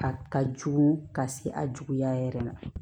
A ka jugu ka se a juguya yɛrɛ ma